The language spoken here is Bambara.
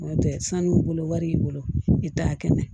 N'o tɛ sanu b'u bolo wari y'i bolo i t'a kɛnɛ